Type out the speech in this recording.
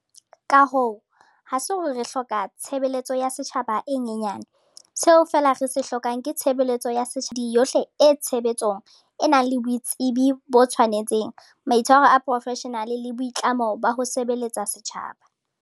Ka hoo, ha se hore re hloka tshe beletso ya setjhaba e nyenya ne- seo re feela re se hloka ke tshebeletso ya setjhaba e nang le mehlodi yohle e tshe betso e nang le boitsebi bo tshwanetseng, maitshwaro a boprofeshenale le boitlamo ba ho sebeletsa setjhaba.